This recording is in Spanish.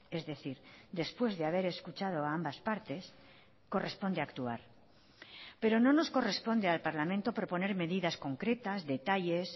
es decir después de haber escuchado a ambas partes corresponde actuar pero no nos corresponde al parlamento proponer medidas concretas detalles